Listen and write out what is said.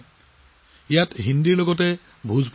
ইয়াত ভোজপুৰী হিন্দীতো কথা পতা হয়